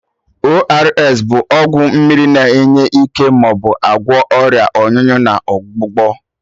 ORS bụ ọgwụ mmiri na enye ike ma agwọ Ọrịa ọnyụnyụ na ọgbụgbọ